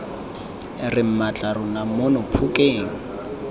re mmatla rona mono phokeng